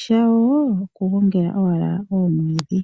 shawo oku gongela owala omwiidhi.